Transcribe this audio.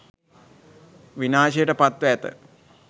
විනාශයට පත් ව ඇත